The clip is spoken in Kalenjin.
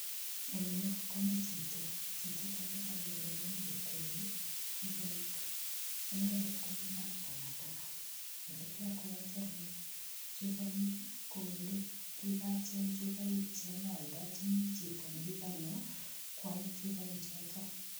Engyu, komichito, chichitok kotogu kole mi kokwei chupoik, inendet komi kaptagataga. Olekiakweati ane chupoik, ko ole kikacheny chupoik chonyooldochini chioto nekikanyo koal chupoik chotok.